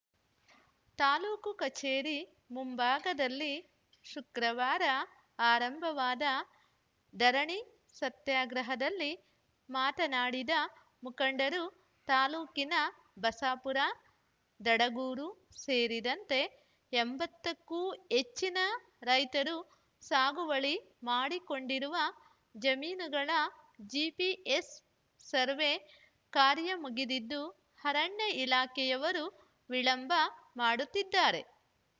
ತಾಲೂಕು ಕಚೇರಿ ಮುಂಭಾಗದಲ್ಲಿ ಶುಕ್ರವಾರ ಆರಂಭವಾದ ದರಣಿ ಸತ್ಯಾಗ್ರಹದಲ್ಲಿ ಮಾತನಾಡಿದ ಮುಖಂಡರು ತಾಲೂಕಿನ ಬಸಾಪುರ ದಡಗೂರು ಸೇರಿದಂತೆ ಎಂಬತ್ತಕ್ಕೂ ಹೆಚ್ಚಿನ ರೈತರು ಸಾಗುವಳಿ ಮಾಡಿಕೊಂಡಿರುವ ಜಮೀನುಗಳ ಜಿಪಿಎಸ್‌ ಸರ್ವೆ ಕಾರ್ಯ ಮುಗಿದಿದ್ದು ಅರಣ್ಯ ಇಲಾಖೆಯವರು ವಿಳಂಬ ಮಾಡುತ್ತಿದ್ದಾರೆ